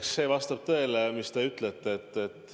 Eks see vastab tõele, mis te ütlesite.